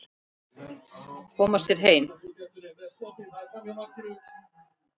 Koma sér heim.